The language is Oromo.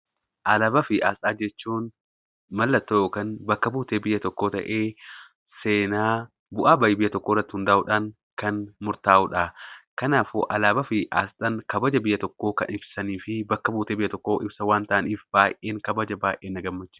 Alaabaa fi asxaa jechuun mallattoo (bakka-buutee) biyya tokkoo ta'ee seenaa bu'aa bayii biyya tokkoo irratti hundaa'uudhaan kan murtaa'uu dha. Kanaafuu, alaabaa fi asxaan kabaja biyya tokkoo kan ibsanii fi bakka-buutee biyya tokkoo ibsan waan ta'aniif baay'een kabaja; baay'ee na gammachiisu.